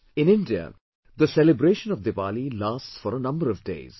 In India, the celebration of Diwali lasts for a number of days